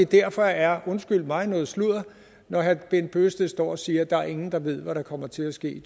derfor er det undskyld mig noget sludder når herre bent bøgsted står og siger at der ikke er nogen der ved hvad der kommer til at ske